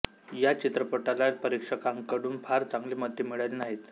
या चित्रपटाला परीक्षकांकडून फार चांगली मते मिळाली नाहीत